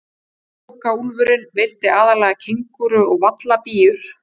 Pokaúlfurinn veiddi aðallega kengúrur og vallabíur.